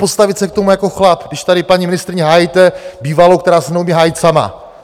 Postavit se k tomu jako chlap, když tady paní ministryni hájíte, bývalou, která se neumí hájit sama.